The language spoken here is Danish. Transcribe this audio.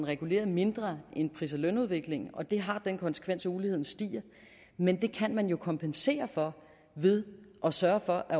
reguleret mindre end pris og lønudviklingen og det har den konsekvens at uligheden stiger men det kan man jo kompensere for ved at sørge for at